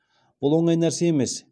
бұл оңай нәрсе емес